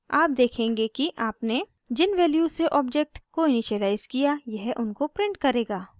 आप देखेंगे कि आपने जिन वैल्यूज़ से ऑब्जेक्ट को इनिशिअलाइज़ किया यह उनको प्रिंट करेगा